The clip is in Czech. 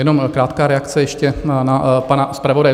Jenom krátká reakce ještě na pana zpravodaje.